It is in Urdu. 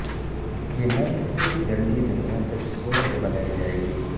یہ نرک سے بھی گندی دنیا جب سورگ بنائی جائے گی